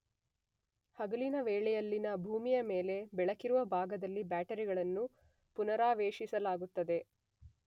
ಹಗಲಿನ ವೇಳೆಯಲ್ಲಿನ ಭೂಮಿಯ ಮೇಲೆ ಬೆಳಕಿರುವ ಭಾಗದಲ್ಲಿ ಬ್ಯಾಟರಿಗಳನ್ನು ಪುನರಾವೇಶಿಸಲಾಗುತ್ತದೆ.